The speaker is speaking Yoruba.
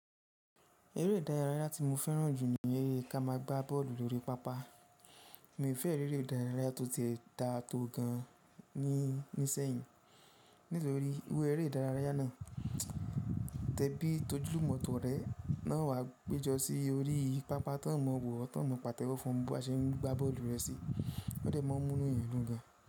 Eré ìdárayá tí mo fẹ́ràn jù ní eré ká má a gbá bọ́ọ̀lù lórí pápá. Mi ò fẹ́ eré ìdárayá tó ti dà tó gan ní isẹ́yìn nítorí ewu eré ìdárayá náà. Tẹbí tojúlùmọ̀ tọ̀rẹ́ lówà péjọ sí orí pàápá tó mọ wò ẹ́, tó mọ pàtẹ́wọ́ fún ẹ bó bá ṣe ń gbá bọ́ọ̀lù rẹ sí ó dè mọ́ mú inú èèyàn gan.